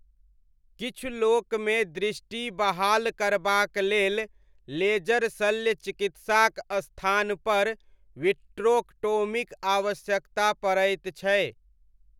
किछु लोकमे दृष्टि बहाल करबाक लेल लेजर शल्य चिकित्साक स्थानपर विट्रोक्टोमीक आवश्यकता पड़ैत छै।